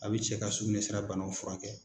A bɛ cɛ ka sugunɛ sira banaw furakɛ.